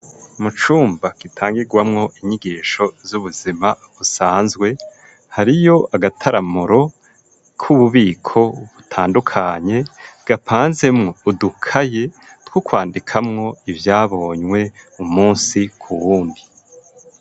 Mu cumba gitangigwamwo inyigisho z'ubuzima usanzwe hariyo agataramuro k'ububiko butandukanye gapanze mu udukaye tw'okwandikamwo ibyabonywe umunsi ku wundi.